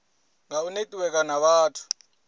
nga u netiweka na vhathu